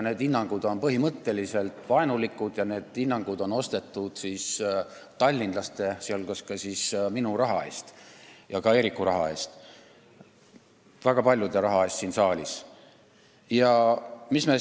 Need on põhimõtteliselt vaenulikud hinnangud, mis on ostetud tallinlaste, sh minu ja ka Eeriku, väga paljude siin saalis olijate raha eest.